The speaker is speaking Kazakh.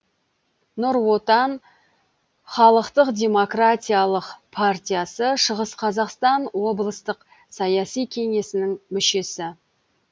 нұр отан халықтық демократия партиясы шығыс қазақстан облыстық саяси кеңесінің мүшесі